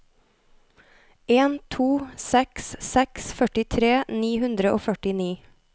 en to seks seks førtitre ni hundre og førtini